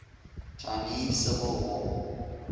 chinese civil war